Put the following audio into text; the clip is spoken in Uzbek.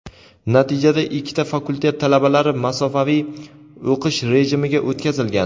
Natijada ikkita fakultet talabalari masofaviy o‘qish rejimiga o‘tkazilgan.